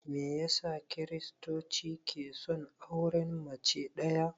Meyasa kiristoci ke son auren mace ɗaya?